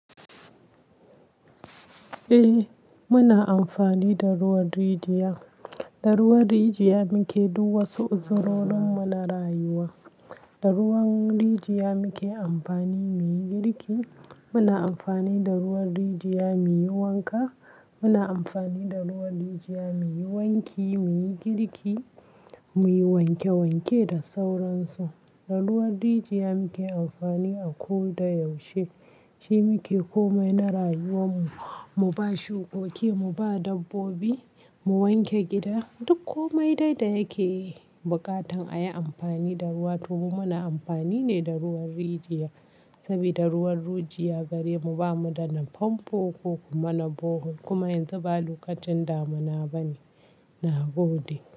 Eh muna amfani da ruwan rijiya, da ruwan rijiya muke duk wasu uzurorin mu na rayuwa. Da ruwan rijiya muke amfani muyi girki, muna amfani da ruwan rijiya muyi wanka, muna amfani da ruwan rijiya muyi wanki, muyi girki, muyi wanke wanke da sauran su. Da ruwan rijiya muke amfani a ko da yaushe. Shi muke komai na rayuwar mu, mu ba shukoki, mu ba dabbobi, mu wanke gida. Duk komai dai da yake buƙatan a yi amfani da ruwa to mu muna amfani ne da ruwan rijiya. Saboda ruwan rijiya gare mu bamu da na famfo ko kuma na bohol. Kuma yanzu ba lokacin damuna bane nagode.